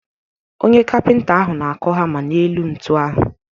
Onye kapịnta ahụ na-akụ hama n’elu ntu ahụ.